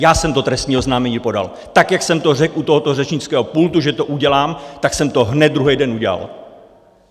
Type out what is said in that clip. Já jsem to trestní oznámení podal - tak, jak jsem to řekl u tohoto řečnického pultu, že to udělám, tak jsem to hned druhý den udělal.